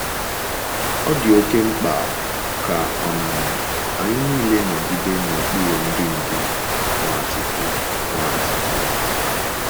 Ọ dị oké mkpa ka um anyị nile nọgide n’okpuru idu ndú Nwachukwu. Nwachukwu.